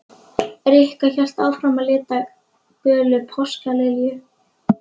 Rikka hélt áfram að lita gula páskalilju.